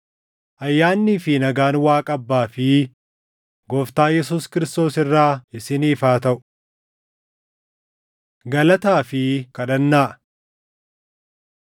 Ayyaannii fi nagaan Waaqa Abbaa fi Gooftaa Yesuus Kiristoos irraa isiniif haa taʼu. Galataa fi Kadhannaa